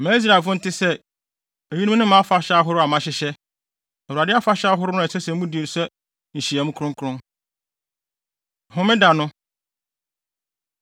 “Ma Israelfo nte sɛ, ‘Eyinom ne mʼafahyɛ ahorow a mahyehyɛ, Awurade afahyɛ ahorow no a ɛsɛ sɛ mudi no sɛ nhyiamu kronkron. Homeda No